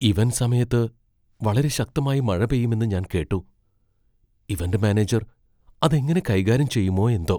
Event സമയത്ത് വളരെ ശക്തമായി മഴ പെയ്യുമെന്ന് ഞാൻ കേട്ടു , ഇവന്റ് മാനേജർ അത് എങ്ങനെ കൈകാര്യം ചെയ്യുമോ എന്തോ!